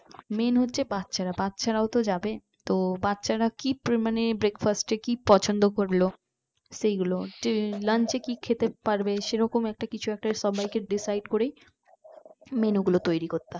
main হচ্ছ বাচ্চারা বাচ্চারাও তো যাবে তো বাচ্চারা কি মানে breakfast এ কি পছন্দ করলো সেগুলো তে lunch এ কি খেতে সেরকম কিছু একটা সবাইকে decide করে menu গুলো তৈরী করতে হবে